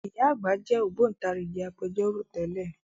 Ìyá àgbà jẹ́ Ògbóntarìgì Agbẹjọ́rò tẹ́lẹ̀